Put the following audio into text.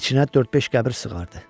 İçinə dörd-beş qəbir sığardı.